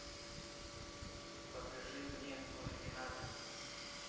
покажи мне ординатор